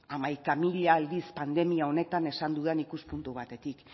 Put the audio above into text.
hamaika mila aldiz pandemia honetan esan dudan ikuspuntu batetik